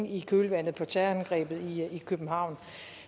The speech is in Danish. i kølvandet på terrorangrebet i københavn